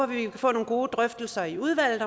vi kan få nogle gode drøftelser i udvalget